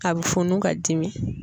A bɛ funu ka dimi.